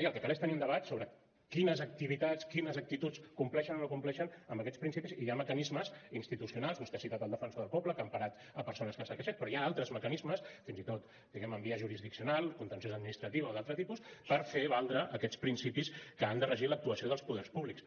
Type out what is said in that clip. i el que cal és tenir un debat sobre quines activitats quines actituds compleixen o no compleixen amb aquests principis i hi ha mecanismes institucionals vostè ha citat el defensor del poble que ha emparat persones que s’han queixat però hi ha altres mecanismes fins i tot diguem ne en via jurisdiccional contenciosa administrativa o d’altre tipus per fer valdre aquests principis que han de regir l’actuació dels poders públics